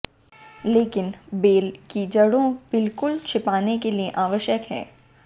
लेकिन बेल की जड़ों बिल्कुल छिपाने के लिए आवश्यक है